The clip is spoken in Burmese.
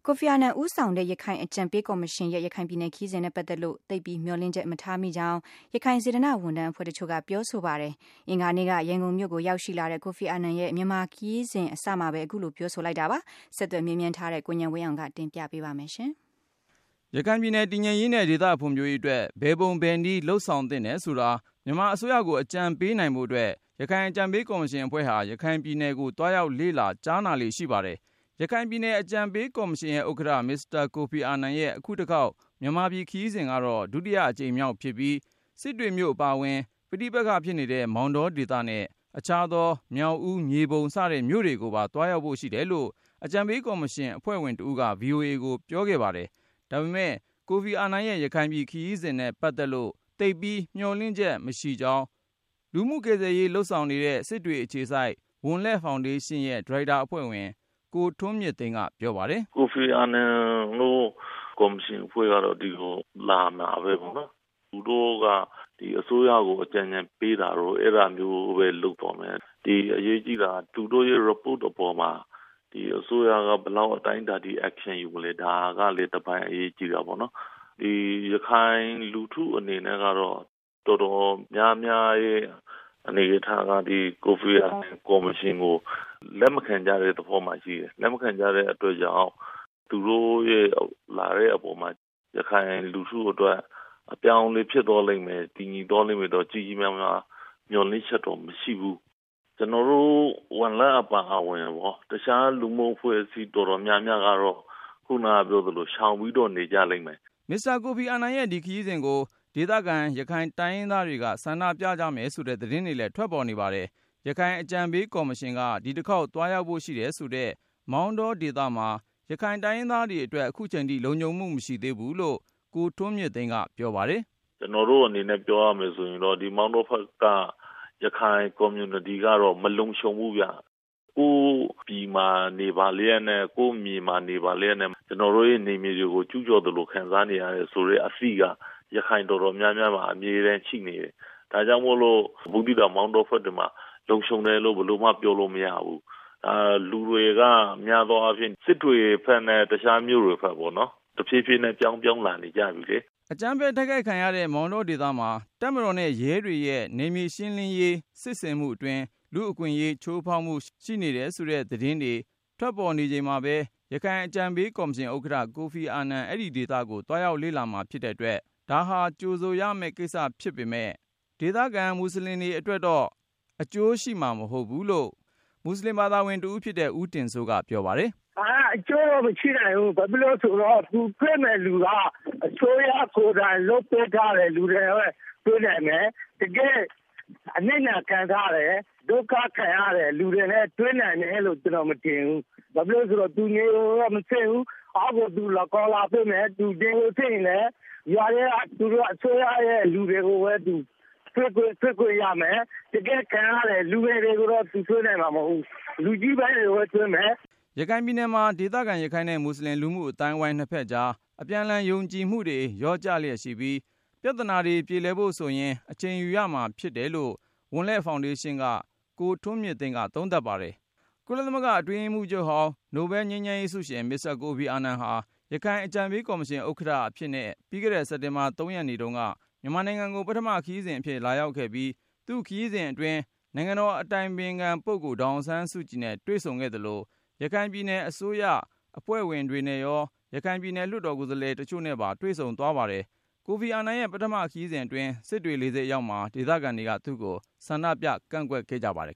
ိုဖီအာနန် ဦးဆောင်တဲ့ ရခိုင်အကြံပေးကော်မရှင်ရဲ့ ရခိုင်ပြည်နယ်ခရီးစဉ်နဲ့ ပတ်သက်လို့ သိပ်ပြီး မျှော်လင့်ချက် မထားမိကြောင်း ရခိုင် စေတနာ့ဝန်ထမ်း အဖွဲ့ တချို့က ပြောဆိုပါတယ်။ အင်္ဂါနေ့က ရန်ကုန်မြို့ကို ရောက်ရှိလာတဲ့ ကိုဖီအာနန် ရဲ့ မြန်မာပြည်ခရီးစဉ် အစမှာပဲ အခုလို ပြောဆိုလိုက်တာပါ။ ဆက်သွယ်မေးမြန်း ထားတဲ့ ကိုဉာဏ်ဝင်းအောင်က တင်ပြပါမယ်။ ရခိုင်ပြည်နယ် တည်ငြိမ်အေးချမ်းရေးနဲ့ ဒေသဖွံ့ဖြိုးရေးအတွက် ဘယ်ပုံဘယ်နည်း လုပ်ဆောင်သင့်တယ်ဆိုတာ မြန်မာအစိုးရကို အကြံပေးနိုင် ဖို့အတွက် ရခိုင် အကြံပေးကော်မရှင်အဖွဲ့ဟာ ရခိုင်ပြည်နယ်ကို သွားရောက်လေ့လာ ကြားနာလေ့ ရှိပါတယ်။ ရခိုင်အကြံပေးကော်မရှင်ရဲ့ဥက္ကဌ မစ္စတာ ကိုဖီအာနန်ရဲ့ အခုတခေါက် မြန်မာပြည်ခရီးစဉ်ကတော့ ဒုတိယအကြိမ်မြောက်ဖြစ်ပြီး စစ်တွေမြို့ အပါအဝင် ပဋိပက္ခဖြစ်နေတဲ့ မောင်တောဒေသနဲ့ အခြားသော မြောက်ဦး၊ မြေပုံ စတဲ့မြို့တွေကိုပါ သွားရောက်ဖို့ရှိတယ်လို့ အကြံပေးကော်မရှင် အဖွဲ့ဝင်တဦးက VOA ကို ပြောခဲ့ပါတယ်။ ဒါပေမယ့် ကိုဖီအာနန်ရဲ့ ရခိုင်ပြည်နယ်ခရီးစဉ်နဲ့ ပတ်သက်လို့ သိပ်ပြီးမျှော်လင့်ချက် မထားမိကြောင်း လူမှုကယ်ဆယ်ရေး လုပ်ဆောင်နေတဲ့ စစ်တွေအခြေစိုက် ဝံလက်ဖေါင်ဒေးရှင်းရဲ့ ဒါရိုက်တာအဖွဲ့ဝင် ရခိုင်တိုင်းရင်းသား ကိုထွန်းမြင့်သိန်း က ပြောပါတယ်။ “ ကိုဖီအာနန်တို့ ကော်မရှင်အဖွဲ့ကတော့ ဒီကို လာနေတာပဲပေါ့နော်၊ သူတို့က ဒီအစိုးရကို အကြံအဉာဏ်ပေးတာတို့ အဲဒါမျိုးပဲ လုပ်သွားမယ်။ အရေးကြီးတာက သူတို့ရဲ့အစီရင်ခံစာအပေါ်မှာ ဒီအစိုးရက ဘယ်လောက် အတိုင်းအတာထိ Action ယူမလဲ ဒါကလဲ တပိုင်းအရေးကြီး တာပေါ့။ ရခိုင်လူထု အနေနဲ့ကတော့ ကိုဖီအာ နန်ကော်မရှင်ကို တော်တော်များများက လက်မခံကြတဲ့ သဘောမှာရှိတယ်။ လက်မခံတဲ့ အတွက်ကြောင့် သူတို့လာတဲ့အပေါ်မှာ ရခိုင်လူထုအတွက် အပြောင်း အလဲ ဖြစ်သွားလိမ့်မယ် တည်ငြိမ်သွားလိမ့်မယ်လို့တော့ မျှော်လင့်ချက် တော့ မရှိဘူး။ ကျနော်တို့ ဝံလက်အပါအဝင် တခြားလူမှုအဖွဲ့အစည်း တော်တော်များများ ကတော့ ရှောင်ပြီးတော့နေ ကြလိမ့်မယ် ” မစ္စတာ ကိုဖီအာနန်ရဲ့ ဒီခရီးစဉ်ကို ဒေသခံ ရခိုင်တိုင်းရင်းသားတွေက ဆန္ဒပြကြ မယ်ဆိုတဲ့ သတင်းတွေလည်း ထွက်ပေါ်နေပါတယ်။ ရခိုင် အကြံပေးကော်မရှင်က ဒီတခေါက် သွားရောက်ဖို့ရှိတယ်ဆိုတဲ့ မောင်တောေ ဒသမှာ ရခိုင်တိုင်းရင်းသားတွေအတွက် ခုချိန်ထိ လုံခြုံမှုမရှိ သေးဘူးလို့ ကိုထွန်းမြင့် သိန်းက ပြောပါတယ်။ “ ဒီမောင်တောဖက်က ရခိုင်ကွန်မြူနတီကတော့ မလုံခြုံဘူးဗျ။ ကိုယ့်ပြည်မှာ နေပါ လျှက်နဲ့ ကိုယ့်မြေမှာနေ ပါလျှက်နဲ့ ကျနော်တို့ရဲ့ နယ်မြေ တွေကို ကြူးကျော်သလို ခံစားနေရတယ် ဆိုတဲ့အသိက ရခိုင်အတော်များများမှာ အမြဲတမ်းရှိနေတယ်။ ဒါကြောင့်မို့လို ဘူးသီးတောင် မောင်တောဖက်တွေမှာ လုံခြုံတယ်လို့ ဘယ် လိုမှ ပြောလို့မရဘူး။ လူတွေက အများသောအားဖြင့် စစ်တွေဖက်နဲ့ တခြား မြို့တွေ ဖက်ပေါ့နော်၊ တဖြည်းဖြည်းနဲ့ ပြောင်းလာနေကြပြီလေ ” အကြမ်းဖက်တိုက်ခိုက်ခံရတဲ့ မောင်တောဒေသမှာ တပ်မတော်နဲ့ရဲတွေရဲ့ နယ်မြေ ရှင်းလင်းရေး စစ်ဆင်မှုအတွင်း လူ့အခွင့်အရေး ချိုးဖောက်မှု ရှိနေတယ်ဆိုတဲ့ သတင်းတွေထွက်နေချိန်မှာပဲ ရခိုင်အကြံပေးကော်မရှင်ဥက္ကဋ္ဌ ကိုဖီအာနန် အဲဒီဒေသကို သွားရောက်လေ့လာမှာဖြစ်တဲ့ အတွက် ဒါဟာကြိုဆိုရမယ့်ကိစ္စ ဖြစ်ပေမယ့် ဒေသခံမူဆလင်တွေအတွက်တော့ အကျိုးရှိမှာ မဟုတ်ဘူးလို့ မူဆလင် တဦး ဖြစ်တဲ့ ဦးတင်စိုးက ပြောပါတယ်။ “ ဒါက အကျိုးမရှိနိုင်ဘူး၊ ဘာဖြစ်လို့လဲဆိုတော့ သူတွေ့မယ့်လူက အစိုးရကိုယ်တိုင် စီစဉ်ပေးထားတဲ့ လူတွေနဲ့ပဲ တွေ့နိုင်မယ်၊ တကယ့် ဒုက္ခ ခံစားနေရတဲ့ လူတွေနဲ့တွေ့နိုင်မယ်လို့ ကျနော်မထင်ဘူး။ ဘာလို့လဲဆိုတော့ သူသေချာမစစ် ဘူး၊ ခေါ်လာပေးတဲ့သူတွေကလည်း အစိုးရရဲ့ လူတွေကိုပဲ သူတွေ့ခွင့်ရမှာ၊ တကယ့် ခံရတဲ့ လူငယ်တွေကိုတော့ သူတွေ့ခွင့် ရမှာမဟုတ်ဘူး လူကြီးပိုင်းနဲ့ပဲ တွေ့ခွင့်ရမှာ ” ရခိုင်ပြည်နယ်မှာ ဒေသခံ ရခိုင်နဲ့မူဆလင် လူမှုအသိုင်းအဝိုင်း နှစ်ဖက်ကြား အပြန်အလှန်ယုံကြည်မှုတွေ လျော့ကျလျှက်ရှိပြီး ပြသနာတွေပြေ လည်ဖို့ဆိုရင် အချိန်ယူရဦးမှာ ဖြစ်တယ်လို့ ဝံလက်ဖေါင်ဒေးရှင်းက ကိုထွန်းမြင့်သိန်းက သုံးသပ်ပါတယ်။ ကုလသမဂ္ဂအတွင်းရေးမှူးချုပ်ဟောင်း ငြိမ်းချမ်းရေးနိုဘဲလ်ဆုရှင် မစ္စတာ ကိုဖီအာနန် ဟာ ရခိုင်အကြံပေးကော်မရှင်ဥက္ကဌ အဖြစ်နဲ့ ပြီးခဲ့တဲ့ စက်တင်ဘာ ၃ ရက်နေ့ တုန်းက မြန်မာနိုင်ငံကို ပထမခရီးစဉ်အဖြစ် လာရောက်ခဲ့ပြီး သူ့ခရီးစဉ်အတွင်း နိုင် ငံတော်အတိုင်ပင်ခံပုဂ္ဂိုလ် ဒေါ်အောင်ဆန်းစုကြည်နဲ့ တွေ့ဆုံခဲ့သလို၊ ရခိုင်ပြည်နယ် အစိုးရ အဖွဲ့ဝင်တွေနဲ့ရော ရခိုင်ပြည်နယ် လွှတ်တော်ကိုယ်စားလှယ် တချို့နဲ့ပါ တွေ့ ဆုံ သွားခဲ့ပါတယ်။ ကိုဖီအာနန်ရဲ့ပထမခရီးစဉ်အတွင်း စစ်တွေလေဆိပ်အရောက် မှာ ဒေသခံတွေက သူ့ကို ဆန္ဒပြကန့်ကွက်ခဲ့ကြပါတယ်